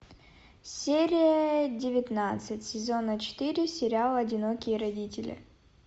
серия девятнадцать сезона четыре сериал одинокие родители